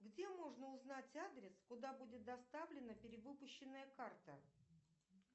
где можно узнать адрес куда будет доставлена перевыпущенная карта